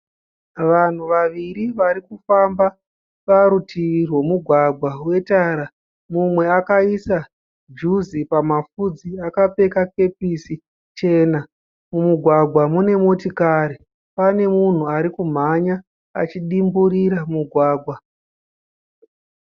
Vanhu vaviri varikufamba parutivi rwemugwagwa we tara, mumwe akaisa juzi pamafudzi akapfeka kepisi chena. Mumugwagwa mune motikari. Pane munhu arikumhanya achidimburira mugwagwa.